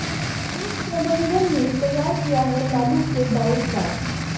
RIMS प्रबंधन ने तैयार किया है लालू के डाइट चार्ट